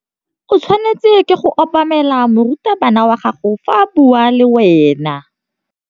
O tshwanetse go obamela morutabana wa gago fa a bua le wena.